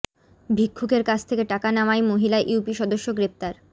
ভিক্ষুকের কাছ থেকে টাকা নেওয়ায় মহিলা ইউপি সদস্য গ্রেপ্তার